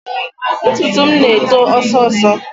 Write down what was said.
Ntutu m na-eto ọsọọsọ